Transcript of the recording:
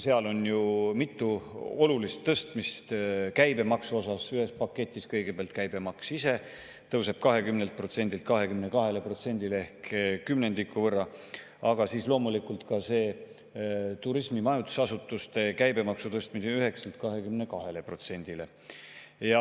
Seal on ju mitu olulist tõstmist käibemaksu osas: ühes paketis kõigepealt käibemaks ise tõuseb 20%‑lt 22%-le ehk kümnendiku võrra, aga tõuseb loomulikult turismi ja majutusasutuste käibemaks 9%-lt 22%-le.